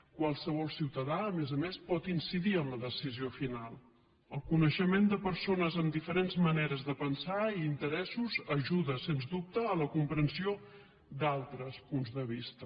qualsevol ciutadà a més a més pot incidir en la decisió final el coneixement de persones amb diferents maneres de pensar i interessos ajuda sens dubte a la comprensió d’altres punts de vista